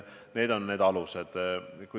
Need on need alused.